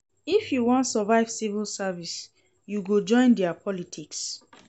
If you wan survive civil service, you go join their politics.